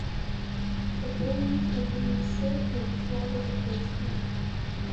пополнить мобильный счет владислава жуковского